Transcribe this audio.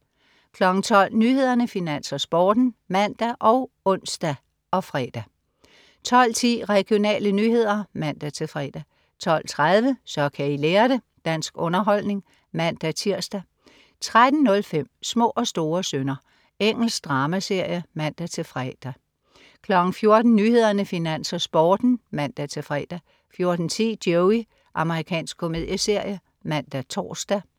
12.00 Nyhederne, Finans, Sporten (man og ons-fre) 12.10 Regionale nyheder (man-fre) 12.30 Så kan I lære det! Dansk underholdning (man-tirs) 13.05 Små og store synder. Engelsk dramaserie (man-fre) 14.00 Nyhederne, Finans, Sporten (man-fre) 14.10 Joey. Amerikansk komedieserie (man-tors)